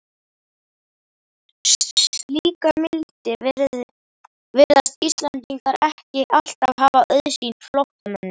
Slíka mildi virðast Íslendingar ekki alltaf hafa auðsýnt flóttamönnum.